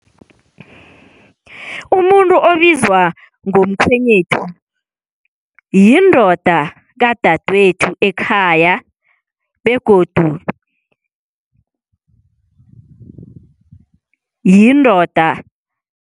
Umuntu obizwa ngomkhwenyethu yindoda kadadwethu ekhaya begodu yindoda.